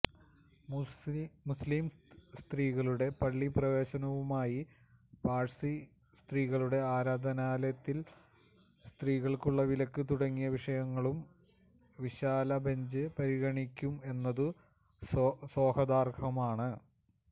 മുസ്ലീം സ്ത്രീകളുടെ പള്ളിപ്രവേശനവുമായും പാഴ്സി സ്ത്രീകളുടെ ആരാധനാലയത്തില് സ്ത്രീകള്ക്കുള്ള വിലക്ക് തുടങ്ങിയ വിഷയങ്ങളും വിശാലബെഞ്ച് പരിഗണിക്കും എന്നതും സ്വാഗതാര്ഹമാണ്